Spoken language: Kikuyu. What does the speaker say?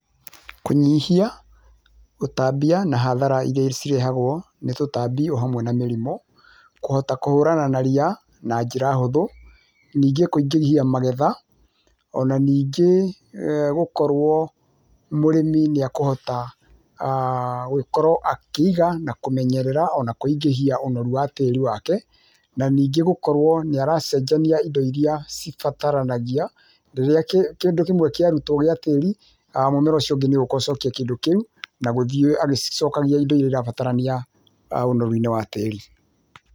Kũnyihia, gũtambia, na hathara iria cirehagwo nĩ tũtambi, o hamwe na mĩrimũ. Kũhota kũhũrana na ria na njĩra hũthu. Ningĩ kũingĩhia magetha. O na ningĩ gũkorwo mũrĩmi nĩekũhota gũgĩkorwo akĩiga na kũmenyerera ona kũingĩhia ũnoru wa tĩĩri wake. Na ningĩ gũkorwo nĩ aracenjania indo iria cibataranagia. Rĩrĩa kĩndũ kĩmwe kĩarutwo gĩa tĩĩri, mũmera ũcio ũngĩ nĩũgũũka ũcokie kĩndũ kĩu, na gũthiĩ agĩcicokagia indo iria irabatarania ũnoru-inĩ wa tĩĩri.